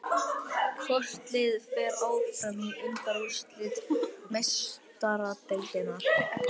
Hvort liðið fer áfram í undanúrslit Meistaradeildarinnar?